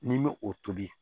N'i bɛ o tobi